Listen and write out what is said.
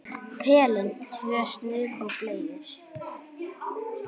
Pelinn, tvö snuð og bleiur.